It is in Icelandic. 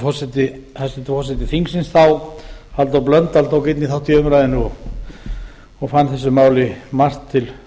hæstvirtur forseti þingsins þá halldór blöndal tók einnig þátt í umræðunni og fann þessu máli margt til